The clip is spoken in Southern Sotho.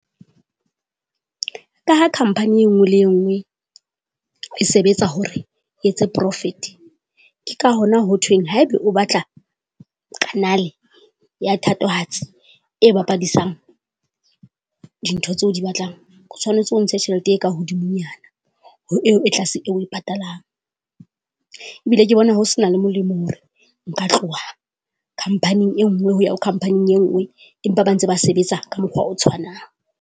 Ka ha company e nngwe le e nngwe, e sebetsa hore e etse Profit. Ke ka hona ho thweng haeba o batla Canal ya thatohatsi, e bapadisang dintho tseo di batlang, o tshwanetse o ntshe tjhelete e ka hodimonyana ho eo e tlase oe patalang. Ebile ke bona ho se na le molemo hore, nka tloha Company e nngwe hoya Companying e nngwe empa ba ntse ba sebetsa ka mokgwa o tshwanang.